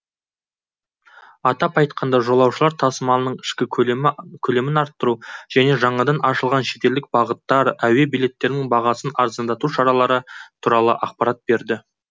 атап айтқанда жолаушылар тасымалының ішкі көлемін арттыру және жаңадан ашылған шетелдік бағыттар әуе билеттерінің бағасын арзандату шаралары туралы ақпарат берді